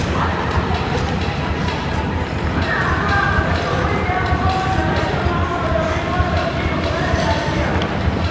Muna haɗuwa a ƙarƙashin ƙungiyarmu kowanne ƙarshen mako domin motsa jiki da kula da lafiyarmu.